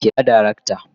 Kira darakta